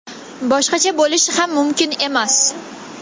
Boshqacha bo‘lishi ham mumkin emas!